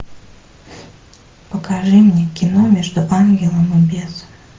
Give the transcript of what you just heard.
покажи мне кино между ангелом и бесом